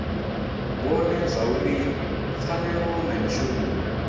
vhone zwauri pfanelo na mishumo